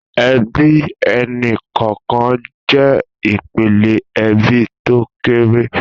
Èbí ẹni kọọkàn jè ipélé èbí tó kéré